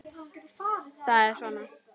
Það er svona